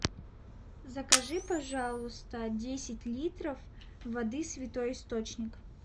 закажи пожалуйста десять литров воды святой источник